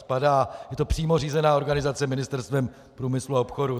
Spadá, je to přímo řízená organizace Ministerstvem průmyslu a obchodu.